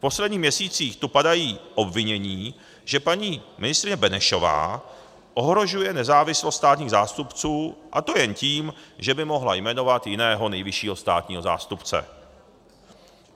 V posledních měsících tu padají obvinění, že paní ministryně Benešová ohrožuje nezávislost státních zástupců, a to jen tím, že by mohla jmenovat jiného nejvyššího státního zástupce.